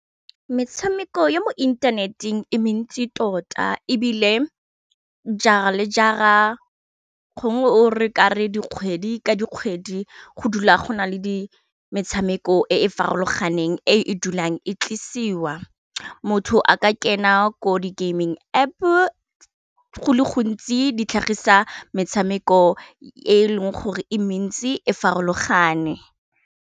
Metshameko ya mo inthaneteng e mentsi tota e bile jara le jara gongwe o re kare dikgwedi ka dikgwedi go dula go na le di metshameko e e farologanang e e dulang e tlisiwa motho a kena ko di gaming App go le gontsi ditlhagisa metshameko e leng gore e mentsi e farologane.